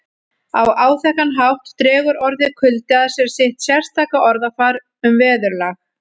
Á áþekkan hátt dregur orðið kuldi að sér sitt sérstaka orðafar um veðurlag